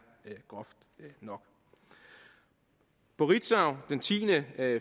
groft nok på ritzau den tiende